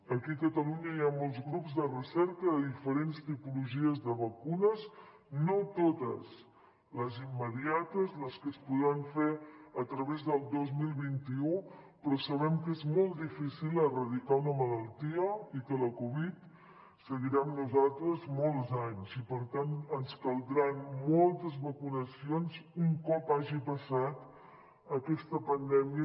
aquí a catalunya hi ha molts grups de recerca de diferents tipologies de vacunes no tots de les immediates de les que es podran fer a través del dos mil vint u però sabem que és molt difícil erradicar una malaltia i que la covid seguirà amb nosaltres molts anys i per tant ens caldran moltes vacunacions un cop hagi passat aquesta pandèmia